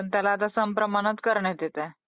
पण त्याला आता समप्रमाणात करण्यात येते.